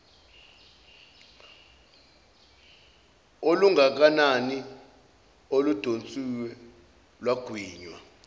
olungakanani oludonsiwe lwagwinywa